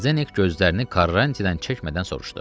Zdenek gözlərini Karanti-dən çəkmədən soruşdu.